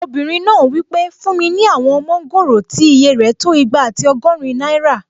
Obìnrin náà wí pé "fún mi ní àwọn mọ́ngòrò tí ìyè rẹ̀ tó igba àti ọgọ́rin náírà!"